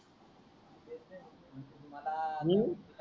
तुम्हला हम्म